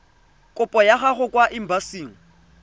kopo ya gago kwa embasing